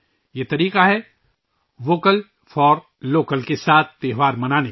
یہ طریقہ ہے ' ووکل فار لوکل ' کے ساتھ تہوار منانے کا